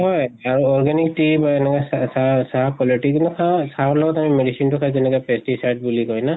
হয় আৰু organic tea চাহ quality কিন্তু খাওঁ, চাহৰ লগত আমি medicine টো খাই আমি যেনেকে pesticide বুলি কয় ন?